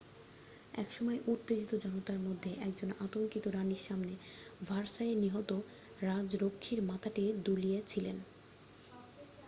এক সময় উত্তেজিত জনতার মধ্যে একজন আতঙ্কিত রানির সামনে ভার্সাইয়ে নিহত রাজরক্ষীর মাথাটি দুলিয়েছিলেন